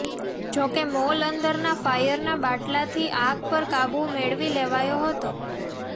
જોકે મોલ અંદરના ફાયરના બાટલાથી આગ પર કાબુ મેળવી લેવાયો હતો